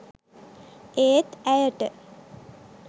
ඒත් ඇයට